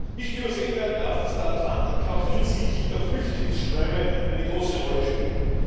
Nicht übersehen werden darf, dass der Atlantik auch hinsichtlich der Flüchtlingsströme eine große Rolle spielt.